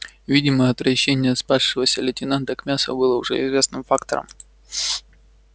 видимо отвращение спасшегося лейтенанта к мясу было уже известным фактом